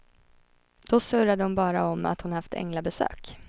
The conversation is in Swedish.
Då surrade hon bara om att hon haft änglabesök.